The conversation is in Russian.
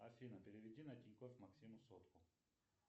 афина переведи на тинькофф максиму сотку